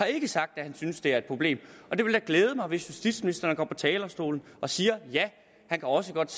ikke sagt at han synes det er et problem det ville glæde mig hvis justitsministeren går på talerstolen og siger at han også godt